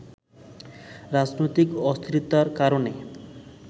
রাজনৈতিক অস্থিরতার কারণে